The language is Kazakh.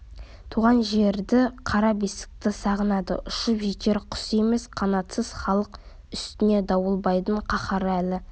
туған жерді қара бесікті сағынады ұшып жетер құс емес қанатсыз халық оның үстіне дауылбайдың қаһары әлі